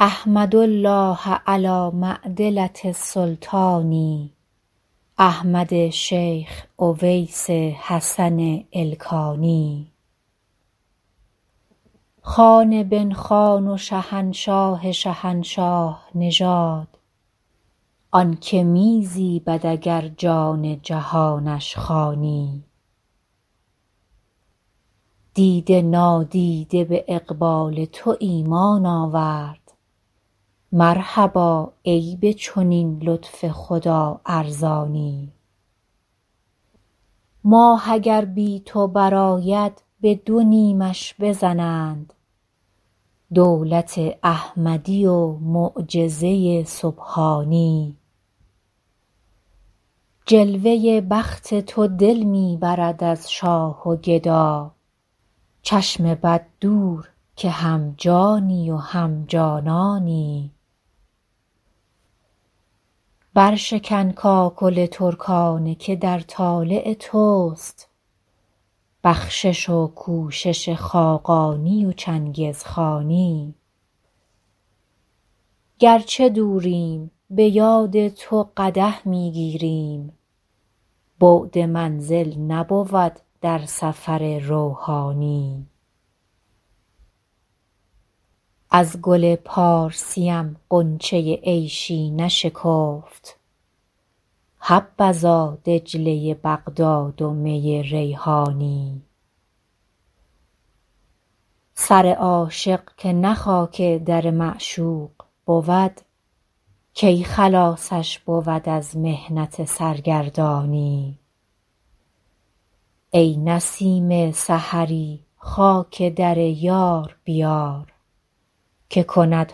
احمد الله علی معدلة السلطان احمد شیخ اویس حسن ایلخانی خان بن خان و شهنشاه شهنشاه نژاد آن که می زیبد اگر جان جهانش خوانی دیده نادیده به اقبال تو ایمان آورد مرحبا ای به چنین لطف خدا ارزانی ماه اگر بی تو برآید به دو نیمش بزنند دولت احمدی و معجزه سبحانی جلوه بخت تو دل می برد از شاه و گدا چشم بد دور که هم جانی و هم جانانی برشکن کاکل ترکانه که در طالع توست بخشش و کوشش خاقانی و چنگزخانی گر چه دوریم به یاد تو قدح می گیریم بعد منزل نبود در سفر روحانی از گل پارسیم غنچه عیشی نشکفت حبذا دجله بغداد و می ریحانی سر عاشق که نه خاک در معشوق بود کی خلاصش بود از محنت سرگردانی ای نسیم سحری خاک در یار بیار که کند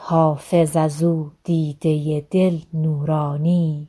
حافظ از او دیده دل نورانی